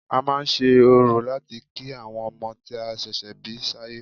A máa ń ṣe orò láti kí àwọn ọmọ tí a ṣẹ̀ṣẹ̀ bí sáyé